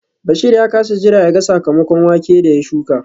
Bashir ya kasa jira yaga sakamakon wake da ya shuka